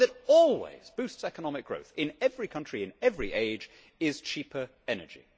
One thing that always boosts economic growth, in every country and in every age, is cheaper energy.